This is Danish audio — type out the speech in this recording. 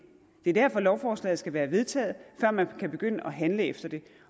er derfor lovforslaget skal være vedtaget før man kan begynde at handle efter det